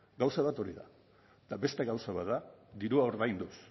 gauza bat hori da eta beste gauza bat da dirua ordainduz